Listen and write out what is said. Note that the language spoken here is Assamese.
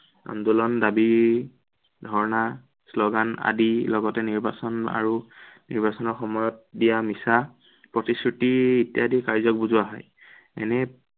আন্দোলন, দাবী, ধৰ্ণা, শ্ল'গান আদিৰ লগতে নিৰ্বাচন আৰু নিৰ্বাচনৰ সময়ত দিয়া মিছা প্ৰতিশ্ৰুতি ইত্য়াদি কাৰ্যক বুজোৱা হয়। এনে